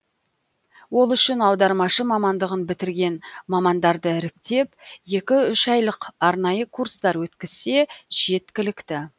ол үшін аудармашы мамандығын бітірген мамандарды іріктеп екі үш айлық арнайы курстар өткізсе жеткілікті